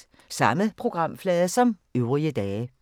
Samme programflade som øvrige dage